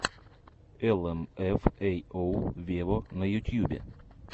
эл эм эф эй оу вево на ютьюбе